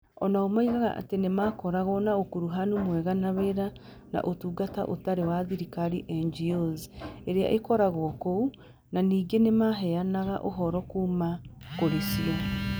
O nao moigaga atĩ nĩ makoragwo na ũkuruhanu mwega wa wĩra na Ũtungata Ũtarĩ wa Thirikari (NGOs) iria ikoragwo kuo, na ningĩ nĩ maheanaga ũhoro kuuma kũrĩ cio.